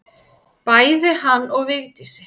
Bæði hann og Vigdísi.